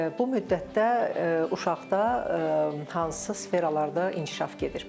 Bu müddətdə uşaqda hansı sferalarda inkişaf gedir?